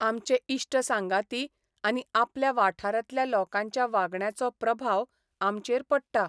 आमचे इश्ट सांगाती आनी आपल्या वाठारांतल्या लोकांच्या वागण्याचो प्रभाव आमचेर पडटा.